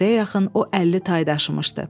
Günortaya yaxın o 50 tay daşımışdı.